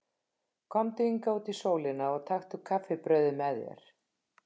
Komdu hingað út í sólina og taktu kaffibrauðið með þér.